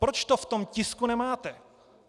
Proč to v tom tisku nemáte?